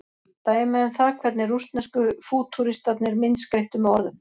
dæmi um það hvernig rússnesku fútúristarnir myndskreyttu með orðum